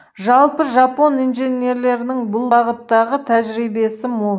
жалпы жапон инженерлерінің бұл бағыттағы тәжірибесі мол